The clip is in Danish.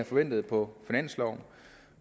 forventet på finansloven